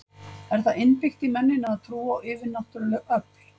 Er það innbyggt í mennina að trúa á yfirnáttúruleg öfl?